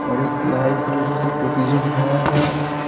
और एक लाल कलर का टोकी रखा है।